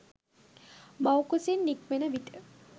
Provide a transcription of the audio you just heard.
මව් කුසින් නික්මෙන විට